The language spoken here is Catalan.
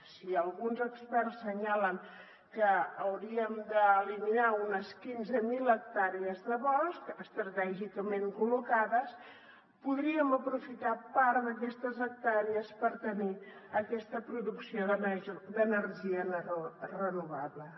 si alguns experts assenyalen que hauríem d’eliminar unes quinze mil hectàrees de bosc estratègicament col·locades podríem aprofitar part d’aquestes hectàrees per tenir aquesta producció d’energia renovable